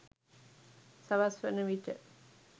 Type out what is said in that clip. සවස් වන විට